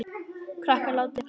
Krakkar látiði ekki svona!